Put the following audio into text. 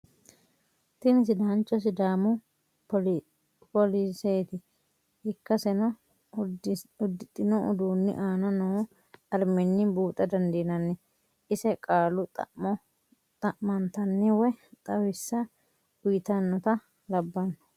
Tini sidaancho sidaamu poliseeti ikkasenno udidhino uduuni anna noo ariminni buuxa dandinnanni, ise qaalu xa'mo xamantanni woyi xawisha uyitanotta labano